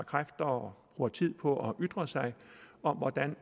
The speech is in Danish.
kræfter og tid på at ytre sig om hvordan